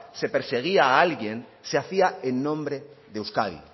se perseguía a alguien se hacía en nombre de euskadi